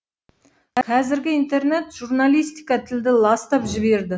қазіргі интернет журналистика тілді ластап жіберді